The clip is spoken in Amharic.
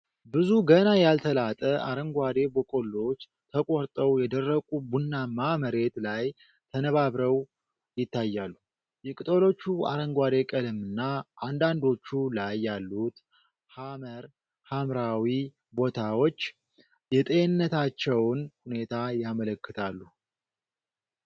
ብዙ ገና ያልተላጠ አረንጓዴ በቆሎዎች ተቆርጠው የደረቁ ቡናማ መሬት ላይ ተነባብረው ይታያሉ። የቅጠሎቹ አረንጓዴ ቀለምና አንዳንዶቹ ላይ ያሉት ሐመር ሐምራዊ ቦታዎች የጤንነታቸውን ሁኔታ ያመለክታሉ።